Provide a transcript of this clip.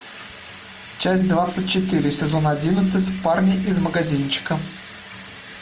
часть двадцать четыре сезон одиннадцать парни из магазинчика